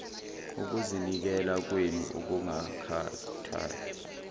ukuzinikela kwenu okungakhathali